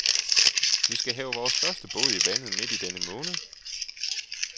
Vi skal have vores første båd i vandet midt i denne måned.